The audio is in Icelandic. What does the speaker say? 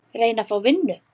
Reyna að fá vinnu?